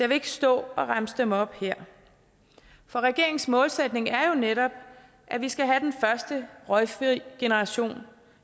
vil ikke stå og remse dem op her for regeringens målsætning er jo netop at vi skal have den første røgfri generation